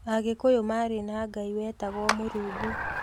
Agĩkũyũ marĩ na Ngai wetagwo Mũrungu